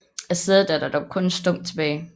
Af sædet er der dog kun en stump tilbage